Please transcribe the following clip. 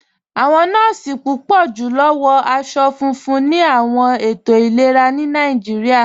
Awọn nọọ̀si púpọ̀ julọ wọ̀ awọn aṣọ̀ fúnfún ni awọn ètò ilẹ̀rà ni Nàìjíríà.